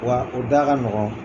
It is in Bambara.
Wa o da ka nɔgɔn.